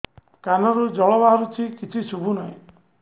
କାନରୁ ଜଳ ବାହାରୁଛି କିଛି ଶୁଭୁ ନାହିଁ